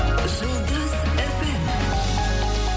жұлдыз фм